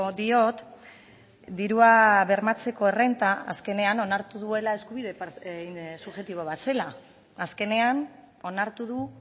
diot dirua bermatzeko errenta azkenean onartu duela eskubide subjektibo bat zela azkenean onartu du